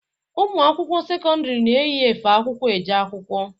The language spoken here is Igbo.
Ụmụ akwụkwọ sekọndiri na-eyi efe akwụkwọ eje akwụkwọ.